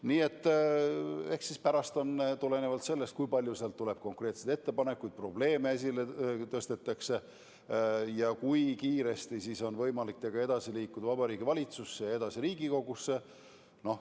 Nii et eks siis pärast ole näha – tulenevalt sellest, kui palju tehakse konkreetseid ettepanekuid ja mis probleeme esile tõstetakse –, kui kiiresti on võimalik sellega liikuda Vabariigi Valitsusse ja sealt edasi Riigikogusse.